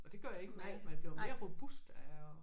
Og det gør ikke noget man bliver mere robust af at